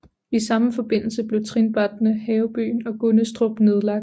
I samme forbindelse blev trinbrætterne Havebyen og Gunnestrup nedlagt